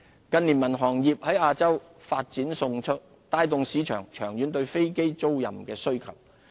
近年民航業在亞洲發展迅速，帶動市場長遠對飛機租賃的需求。